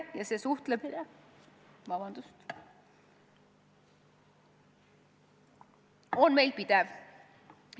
See suhtlemine on meil pidev.